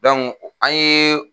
an ye.